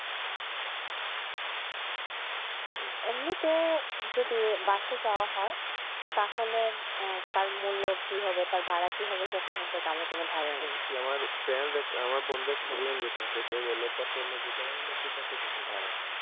এমনি তে যদি বাসে যাওয়া হয় তাহলে তার মূল্য কি হবে তার ভাড়া কি হবেসেটা সম্পর্কে আমার এইরকম ধারণা নাই